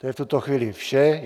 To je v tuto chvíli vše.